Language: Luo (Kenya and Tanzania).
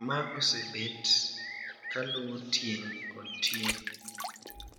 Ma osebet kaluwo tieng` kod tieng`.